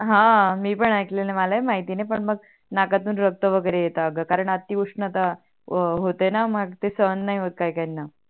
हा मी पण आयकल आहे मला पण माहिती नाही पण मग नाकातून रक्त वगेरे येतात ग कारण अति उष्णता होते णा मग सहन नाही होत काही काहीणा